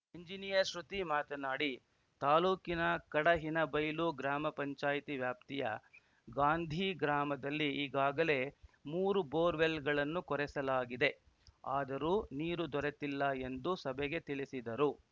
engineer Shruti ಮಾತನಾಡಿ ತಾಲೂಕಿನ ಕಡಹಿನಬೈಲು ಗ್ರಾಮ ಪಂಚಾಯತಿ ವ್ಯಾಪ್ತಿಯ ಗಾಂಧಿ ಗ್ರಾಮದಲ್ಲಿ ಈಗಾಗಲೇ ಮೂರು ಬೋರ್‌ವೆಲ್‌ಗಳನ್ನು ಕೊರೆಸಲಾಗಿದೆ ಆದರೂ ನೀರು ದೊರೆತಿಲ್ಲ ಎಂದು ಸಭೆಗೆ ತಿಳಿಸಿದರು